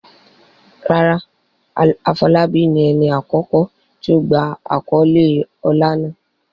Rárá, Afolabi ni ẹni àkọ́kọ́ tí ó gba àkọ́lé ọlá náà.